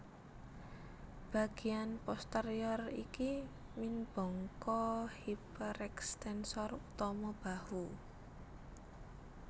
Bagéan posterior iki minbangka hiperekstensor utama bahu